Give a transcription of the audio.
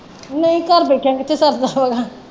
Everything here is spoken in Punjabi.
ਨਈਂ ਘਰ ਬੈਠਿਆਂ ਕਿੱਥੇ ਸਰਦਾ ਵਾ